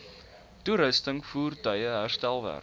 toerusting voertuie herstelwerk